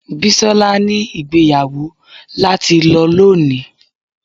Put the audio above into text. Bisola ni igbeyawo lati lo loni